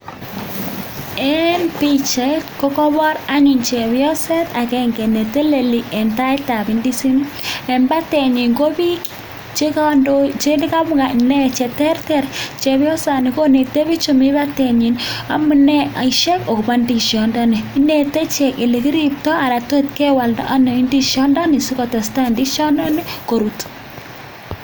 Eng pichait ko kobor anyun chepyoset agenge ne teleli eng taitab indizinik eng batenyi ko bik che [mu] che terter, chepyosani koneti bik chemi batenyi amune [mu] akobo ndishondoni inete ichek ole kiriptoi anan to kewalda anyun ndishondoni asi kotestai ndishondoni korut.